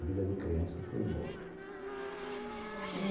A vida de criança foi boa e